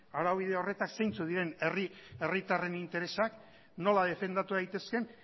araubide horretan zeintzuk diren herritarren interesak nola defendatu daitezkeen